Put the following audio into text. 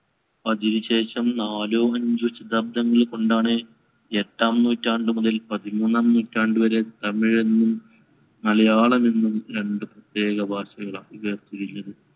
അതിനുശേഷം നാലോ അഞ്ചോ ശതാബ്ദങ്ങൾ കൊണ്ടാണ് എട്ടാം നൂറ്റാണ്ടുമുതൽ പതിമൂന്നാം നൂറ്റാണ്ടുവരെ തമിഴെന്നും മലയാളമെന്നും രണ്ടു പ്രത്യേക ഭാഷകൾ .